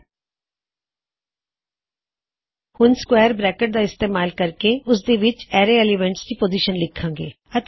ਹੁਣ ਅਸੀਂ square bracket ਦਾ ਇਸਤੇਮਾਲ ਕਰਨ ਜਾ ਰਹੇ ਹਾਂ ਅਤੇ ਅਸੀਂ ਉਸ ਪੋਜਿਸ਼ਨ ਨੂੰ ਐੱਲਿਮੈਨਟ ਇੰਨਸਾਇਡ ਦਿ ਅਰੈ ਪੁਕਾਰਾਂਗੇ